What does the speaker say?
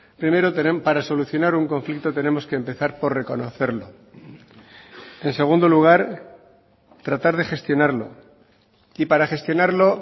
primero para solucionar un conflicto tenemos que empezar por reconocerlo en segundo lugar tratar de gestionarlo y para gestionarlo